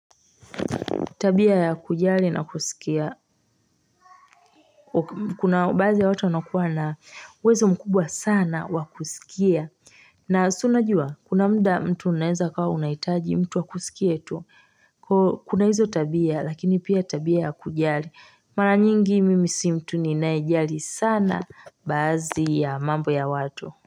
Tabia ya kujali na kusikia, kuna baadhi ya watu wanaokuwa na uwezo mkubwa sana wakusikia. Na siunajua, kuna mda mtu unaeza ukawa unahitaji mtu wakusikietu, kuna hizo tabia lakini pia tabia ya kujali. Maranyingi mimisi mtu ninayejali sana bazi ya mambo ya watu.